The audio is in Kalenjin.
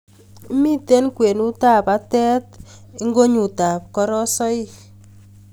Mitei kwenutab batet ingonyutab korosoik